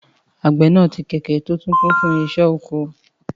Àgbẹ̀ náà tì kẹ̀kẹ́ tí ó kún fún irinṣẹ́ oko.